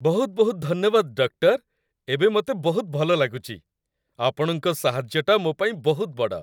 ବହୁତ ବହୁତ ଧନ୍ୟବାଦ, ଡକ୍ଟର! ଏବେ ମତେ ବହୁତ ଭଲ ଲାଗୁଚି । ଆପଣଙ୍କ ସାହାଯ୍ୟଟା ମୋ ପାଇଁ ବହୁତ ବଡ଼ ।